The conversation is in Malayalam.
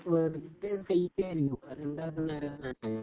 വെറുതെ